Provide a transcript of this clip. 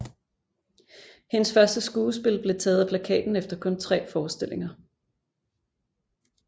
Hendes første skuespil blev taget af plakaten efter kun tre forestillinger